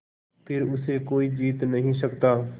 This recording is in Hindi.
फिर उसे कोई जीत नहीं सकता